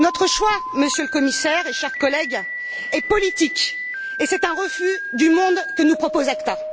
Notre choix, Monsieur le Commissaire et chers collègues, est politique, et c'est un refus du monde que nous propose l'ACTA.